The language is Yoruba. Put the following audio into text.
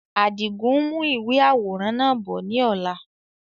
Àdigun n mú ìwé àwòrán náà bọ̀ ni ọ̀la